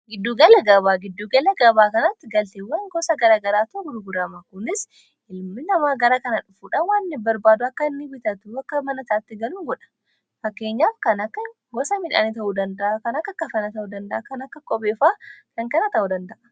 Giddugala gabaa giddugala gabaa kanaatti galteewwan gosa garagaraatu kunis ilmi namaa gara kana dhufuudhan waan barbaada akka hinni bitat akka manataatti galuuin godha fakkeenyaaf kana akka gosa midhaanii ta'uu danda'a kan akka kafanna ta'uu danda'a kan akka qopeefaa kan kanaa ta'uu danda'a.